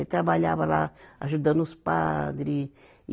Ele trabalhava lá ajudando os padre e.